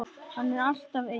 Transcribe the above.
Hann er alltaf eins.